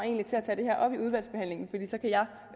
det her